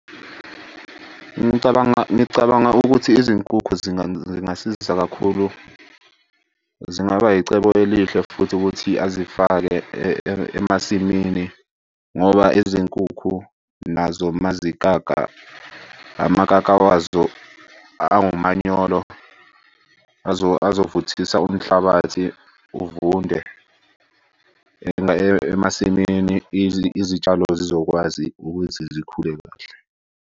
Ngicabanga ngicabanga ukuthi izinkukhu zingasiza kakhulu. Zingaba yicebo elihle futhi ukuthi azifake emasimini ngoba izinkukhu nazo mazikaka, amkaka wazo angumanyolo. Azovuthisa umhlabathi uvunde emasimini. Izitshalo zizokwazi ukuthi zikhule kahle.